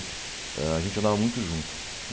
A gente andava muito junto.